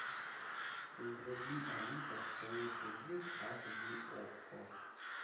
вруби алиса в стране чудес аш ди окко